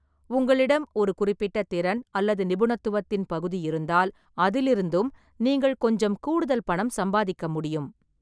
உங்களிடம் ஒரு குறிப்பிட்ட திறன் அல்லது நிபுணத்துவத்தின் பகுதி இருந்தால், அதிலிருந்தும் நீங்கள் கொஞ்சம் கூடுதல் பணம் சம்பாதிக்க முடியும்.